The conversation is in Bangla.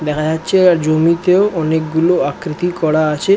দেখা যাচ্ছে আ জমিতেও অনেকগুলো আকৃতি করা আছে।